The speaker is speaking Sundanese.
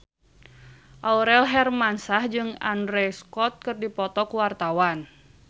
Aurel Hermansyah jeung Andrew Scott keur dipoto ku wartawan